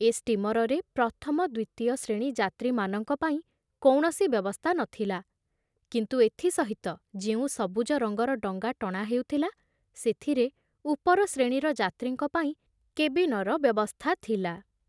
ଏ ଷ୍ଟୀମରରେ ପ୍ରଥମ ଦ୍ବିତୀୟ ଶ୍ରେଣୀ ଯାତ୍ରୀମାନଙ୍କ ପାଇଁ କୌଣସି ବ୍ୟବସ୍ଥା ନ ଥିଲା, କିନ୍ତୁ ଏଥି ସହିତ ଯେଉଁ ସବୁଜ ରଙ୍ଗର ଡଙ୍ଗା ଟଣା ହେଉଥିଲା, ସେଥିରେ ଉପର ଶ୍ରେଣୀର ଯାତ୍ରୀଙ୍କ ପାଇଁ କେବିନର ବ୍ୟବସ୍ଥା ଥିଲା।